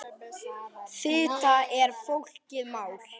Fita er flókið mál.